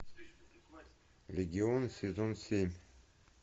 легион сезон семь